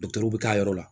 bɛ k'a yɔrɔ la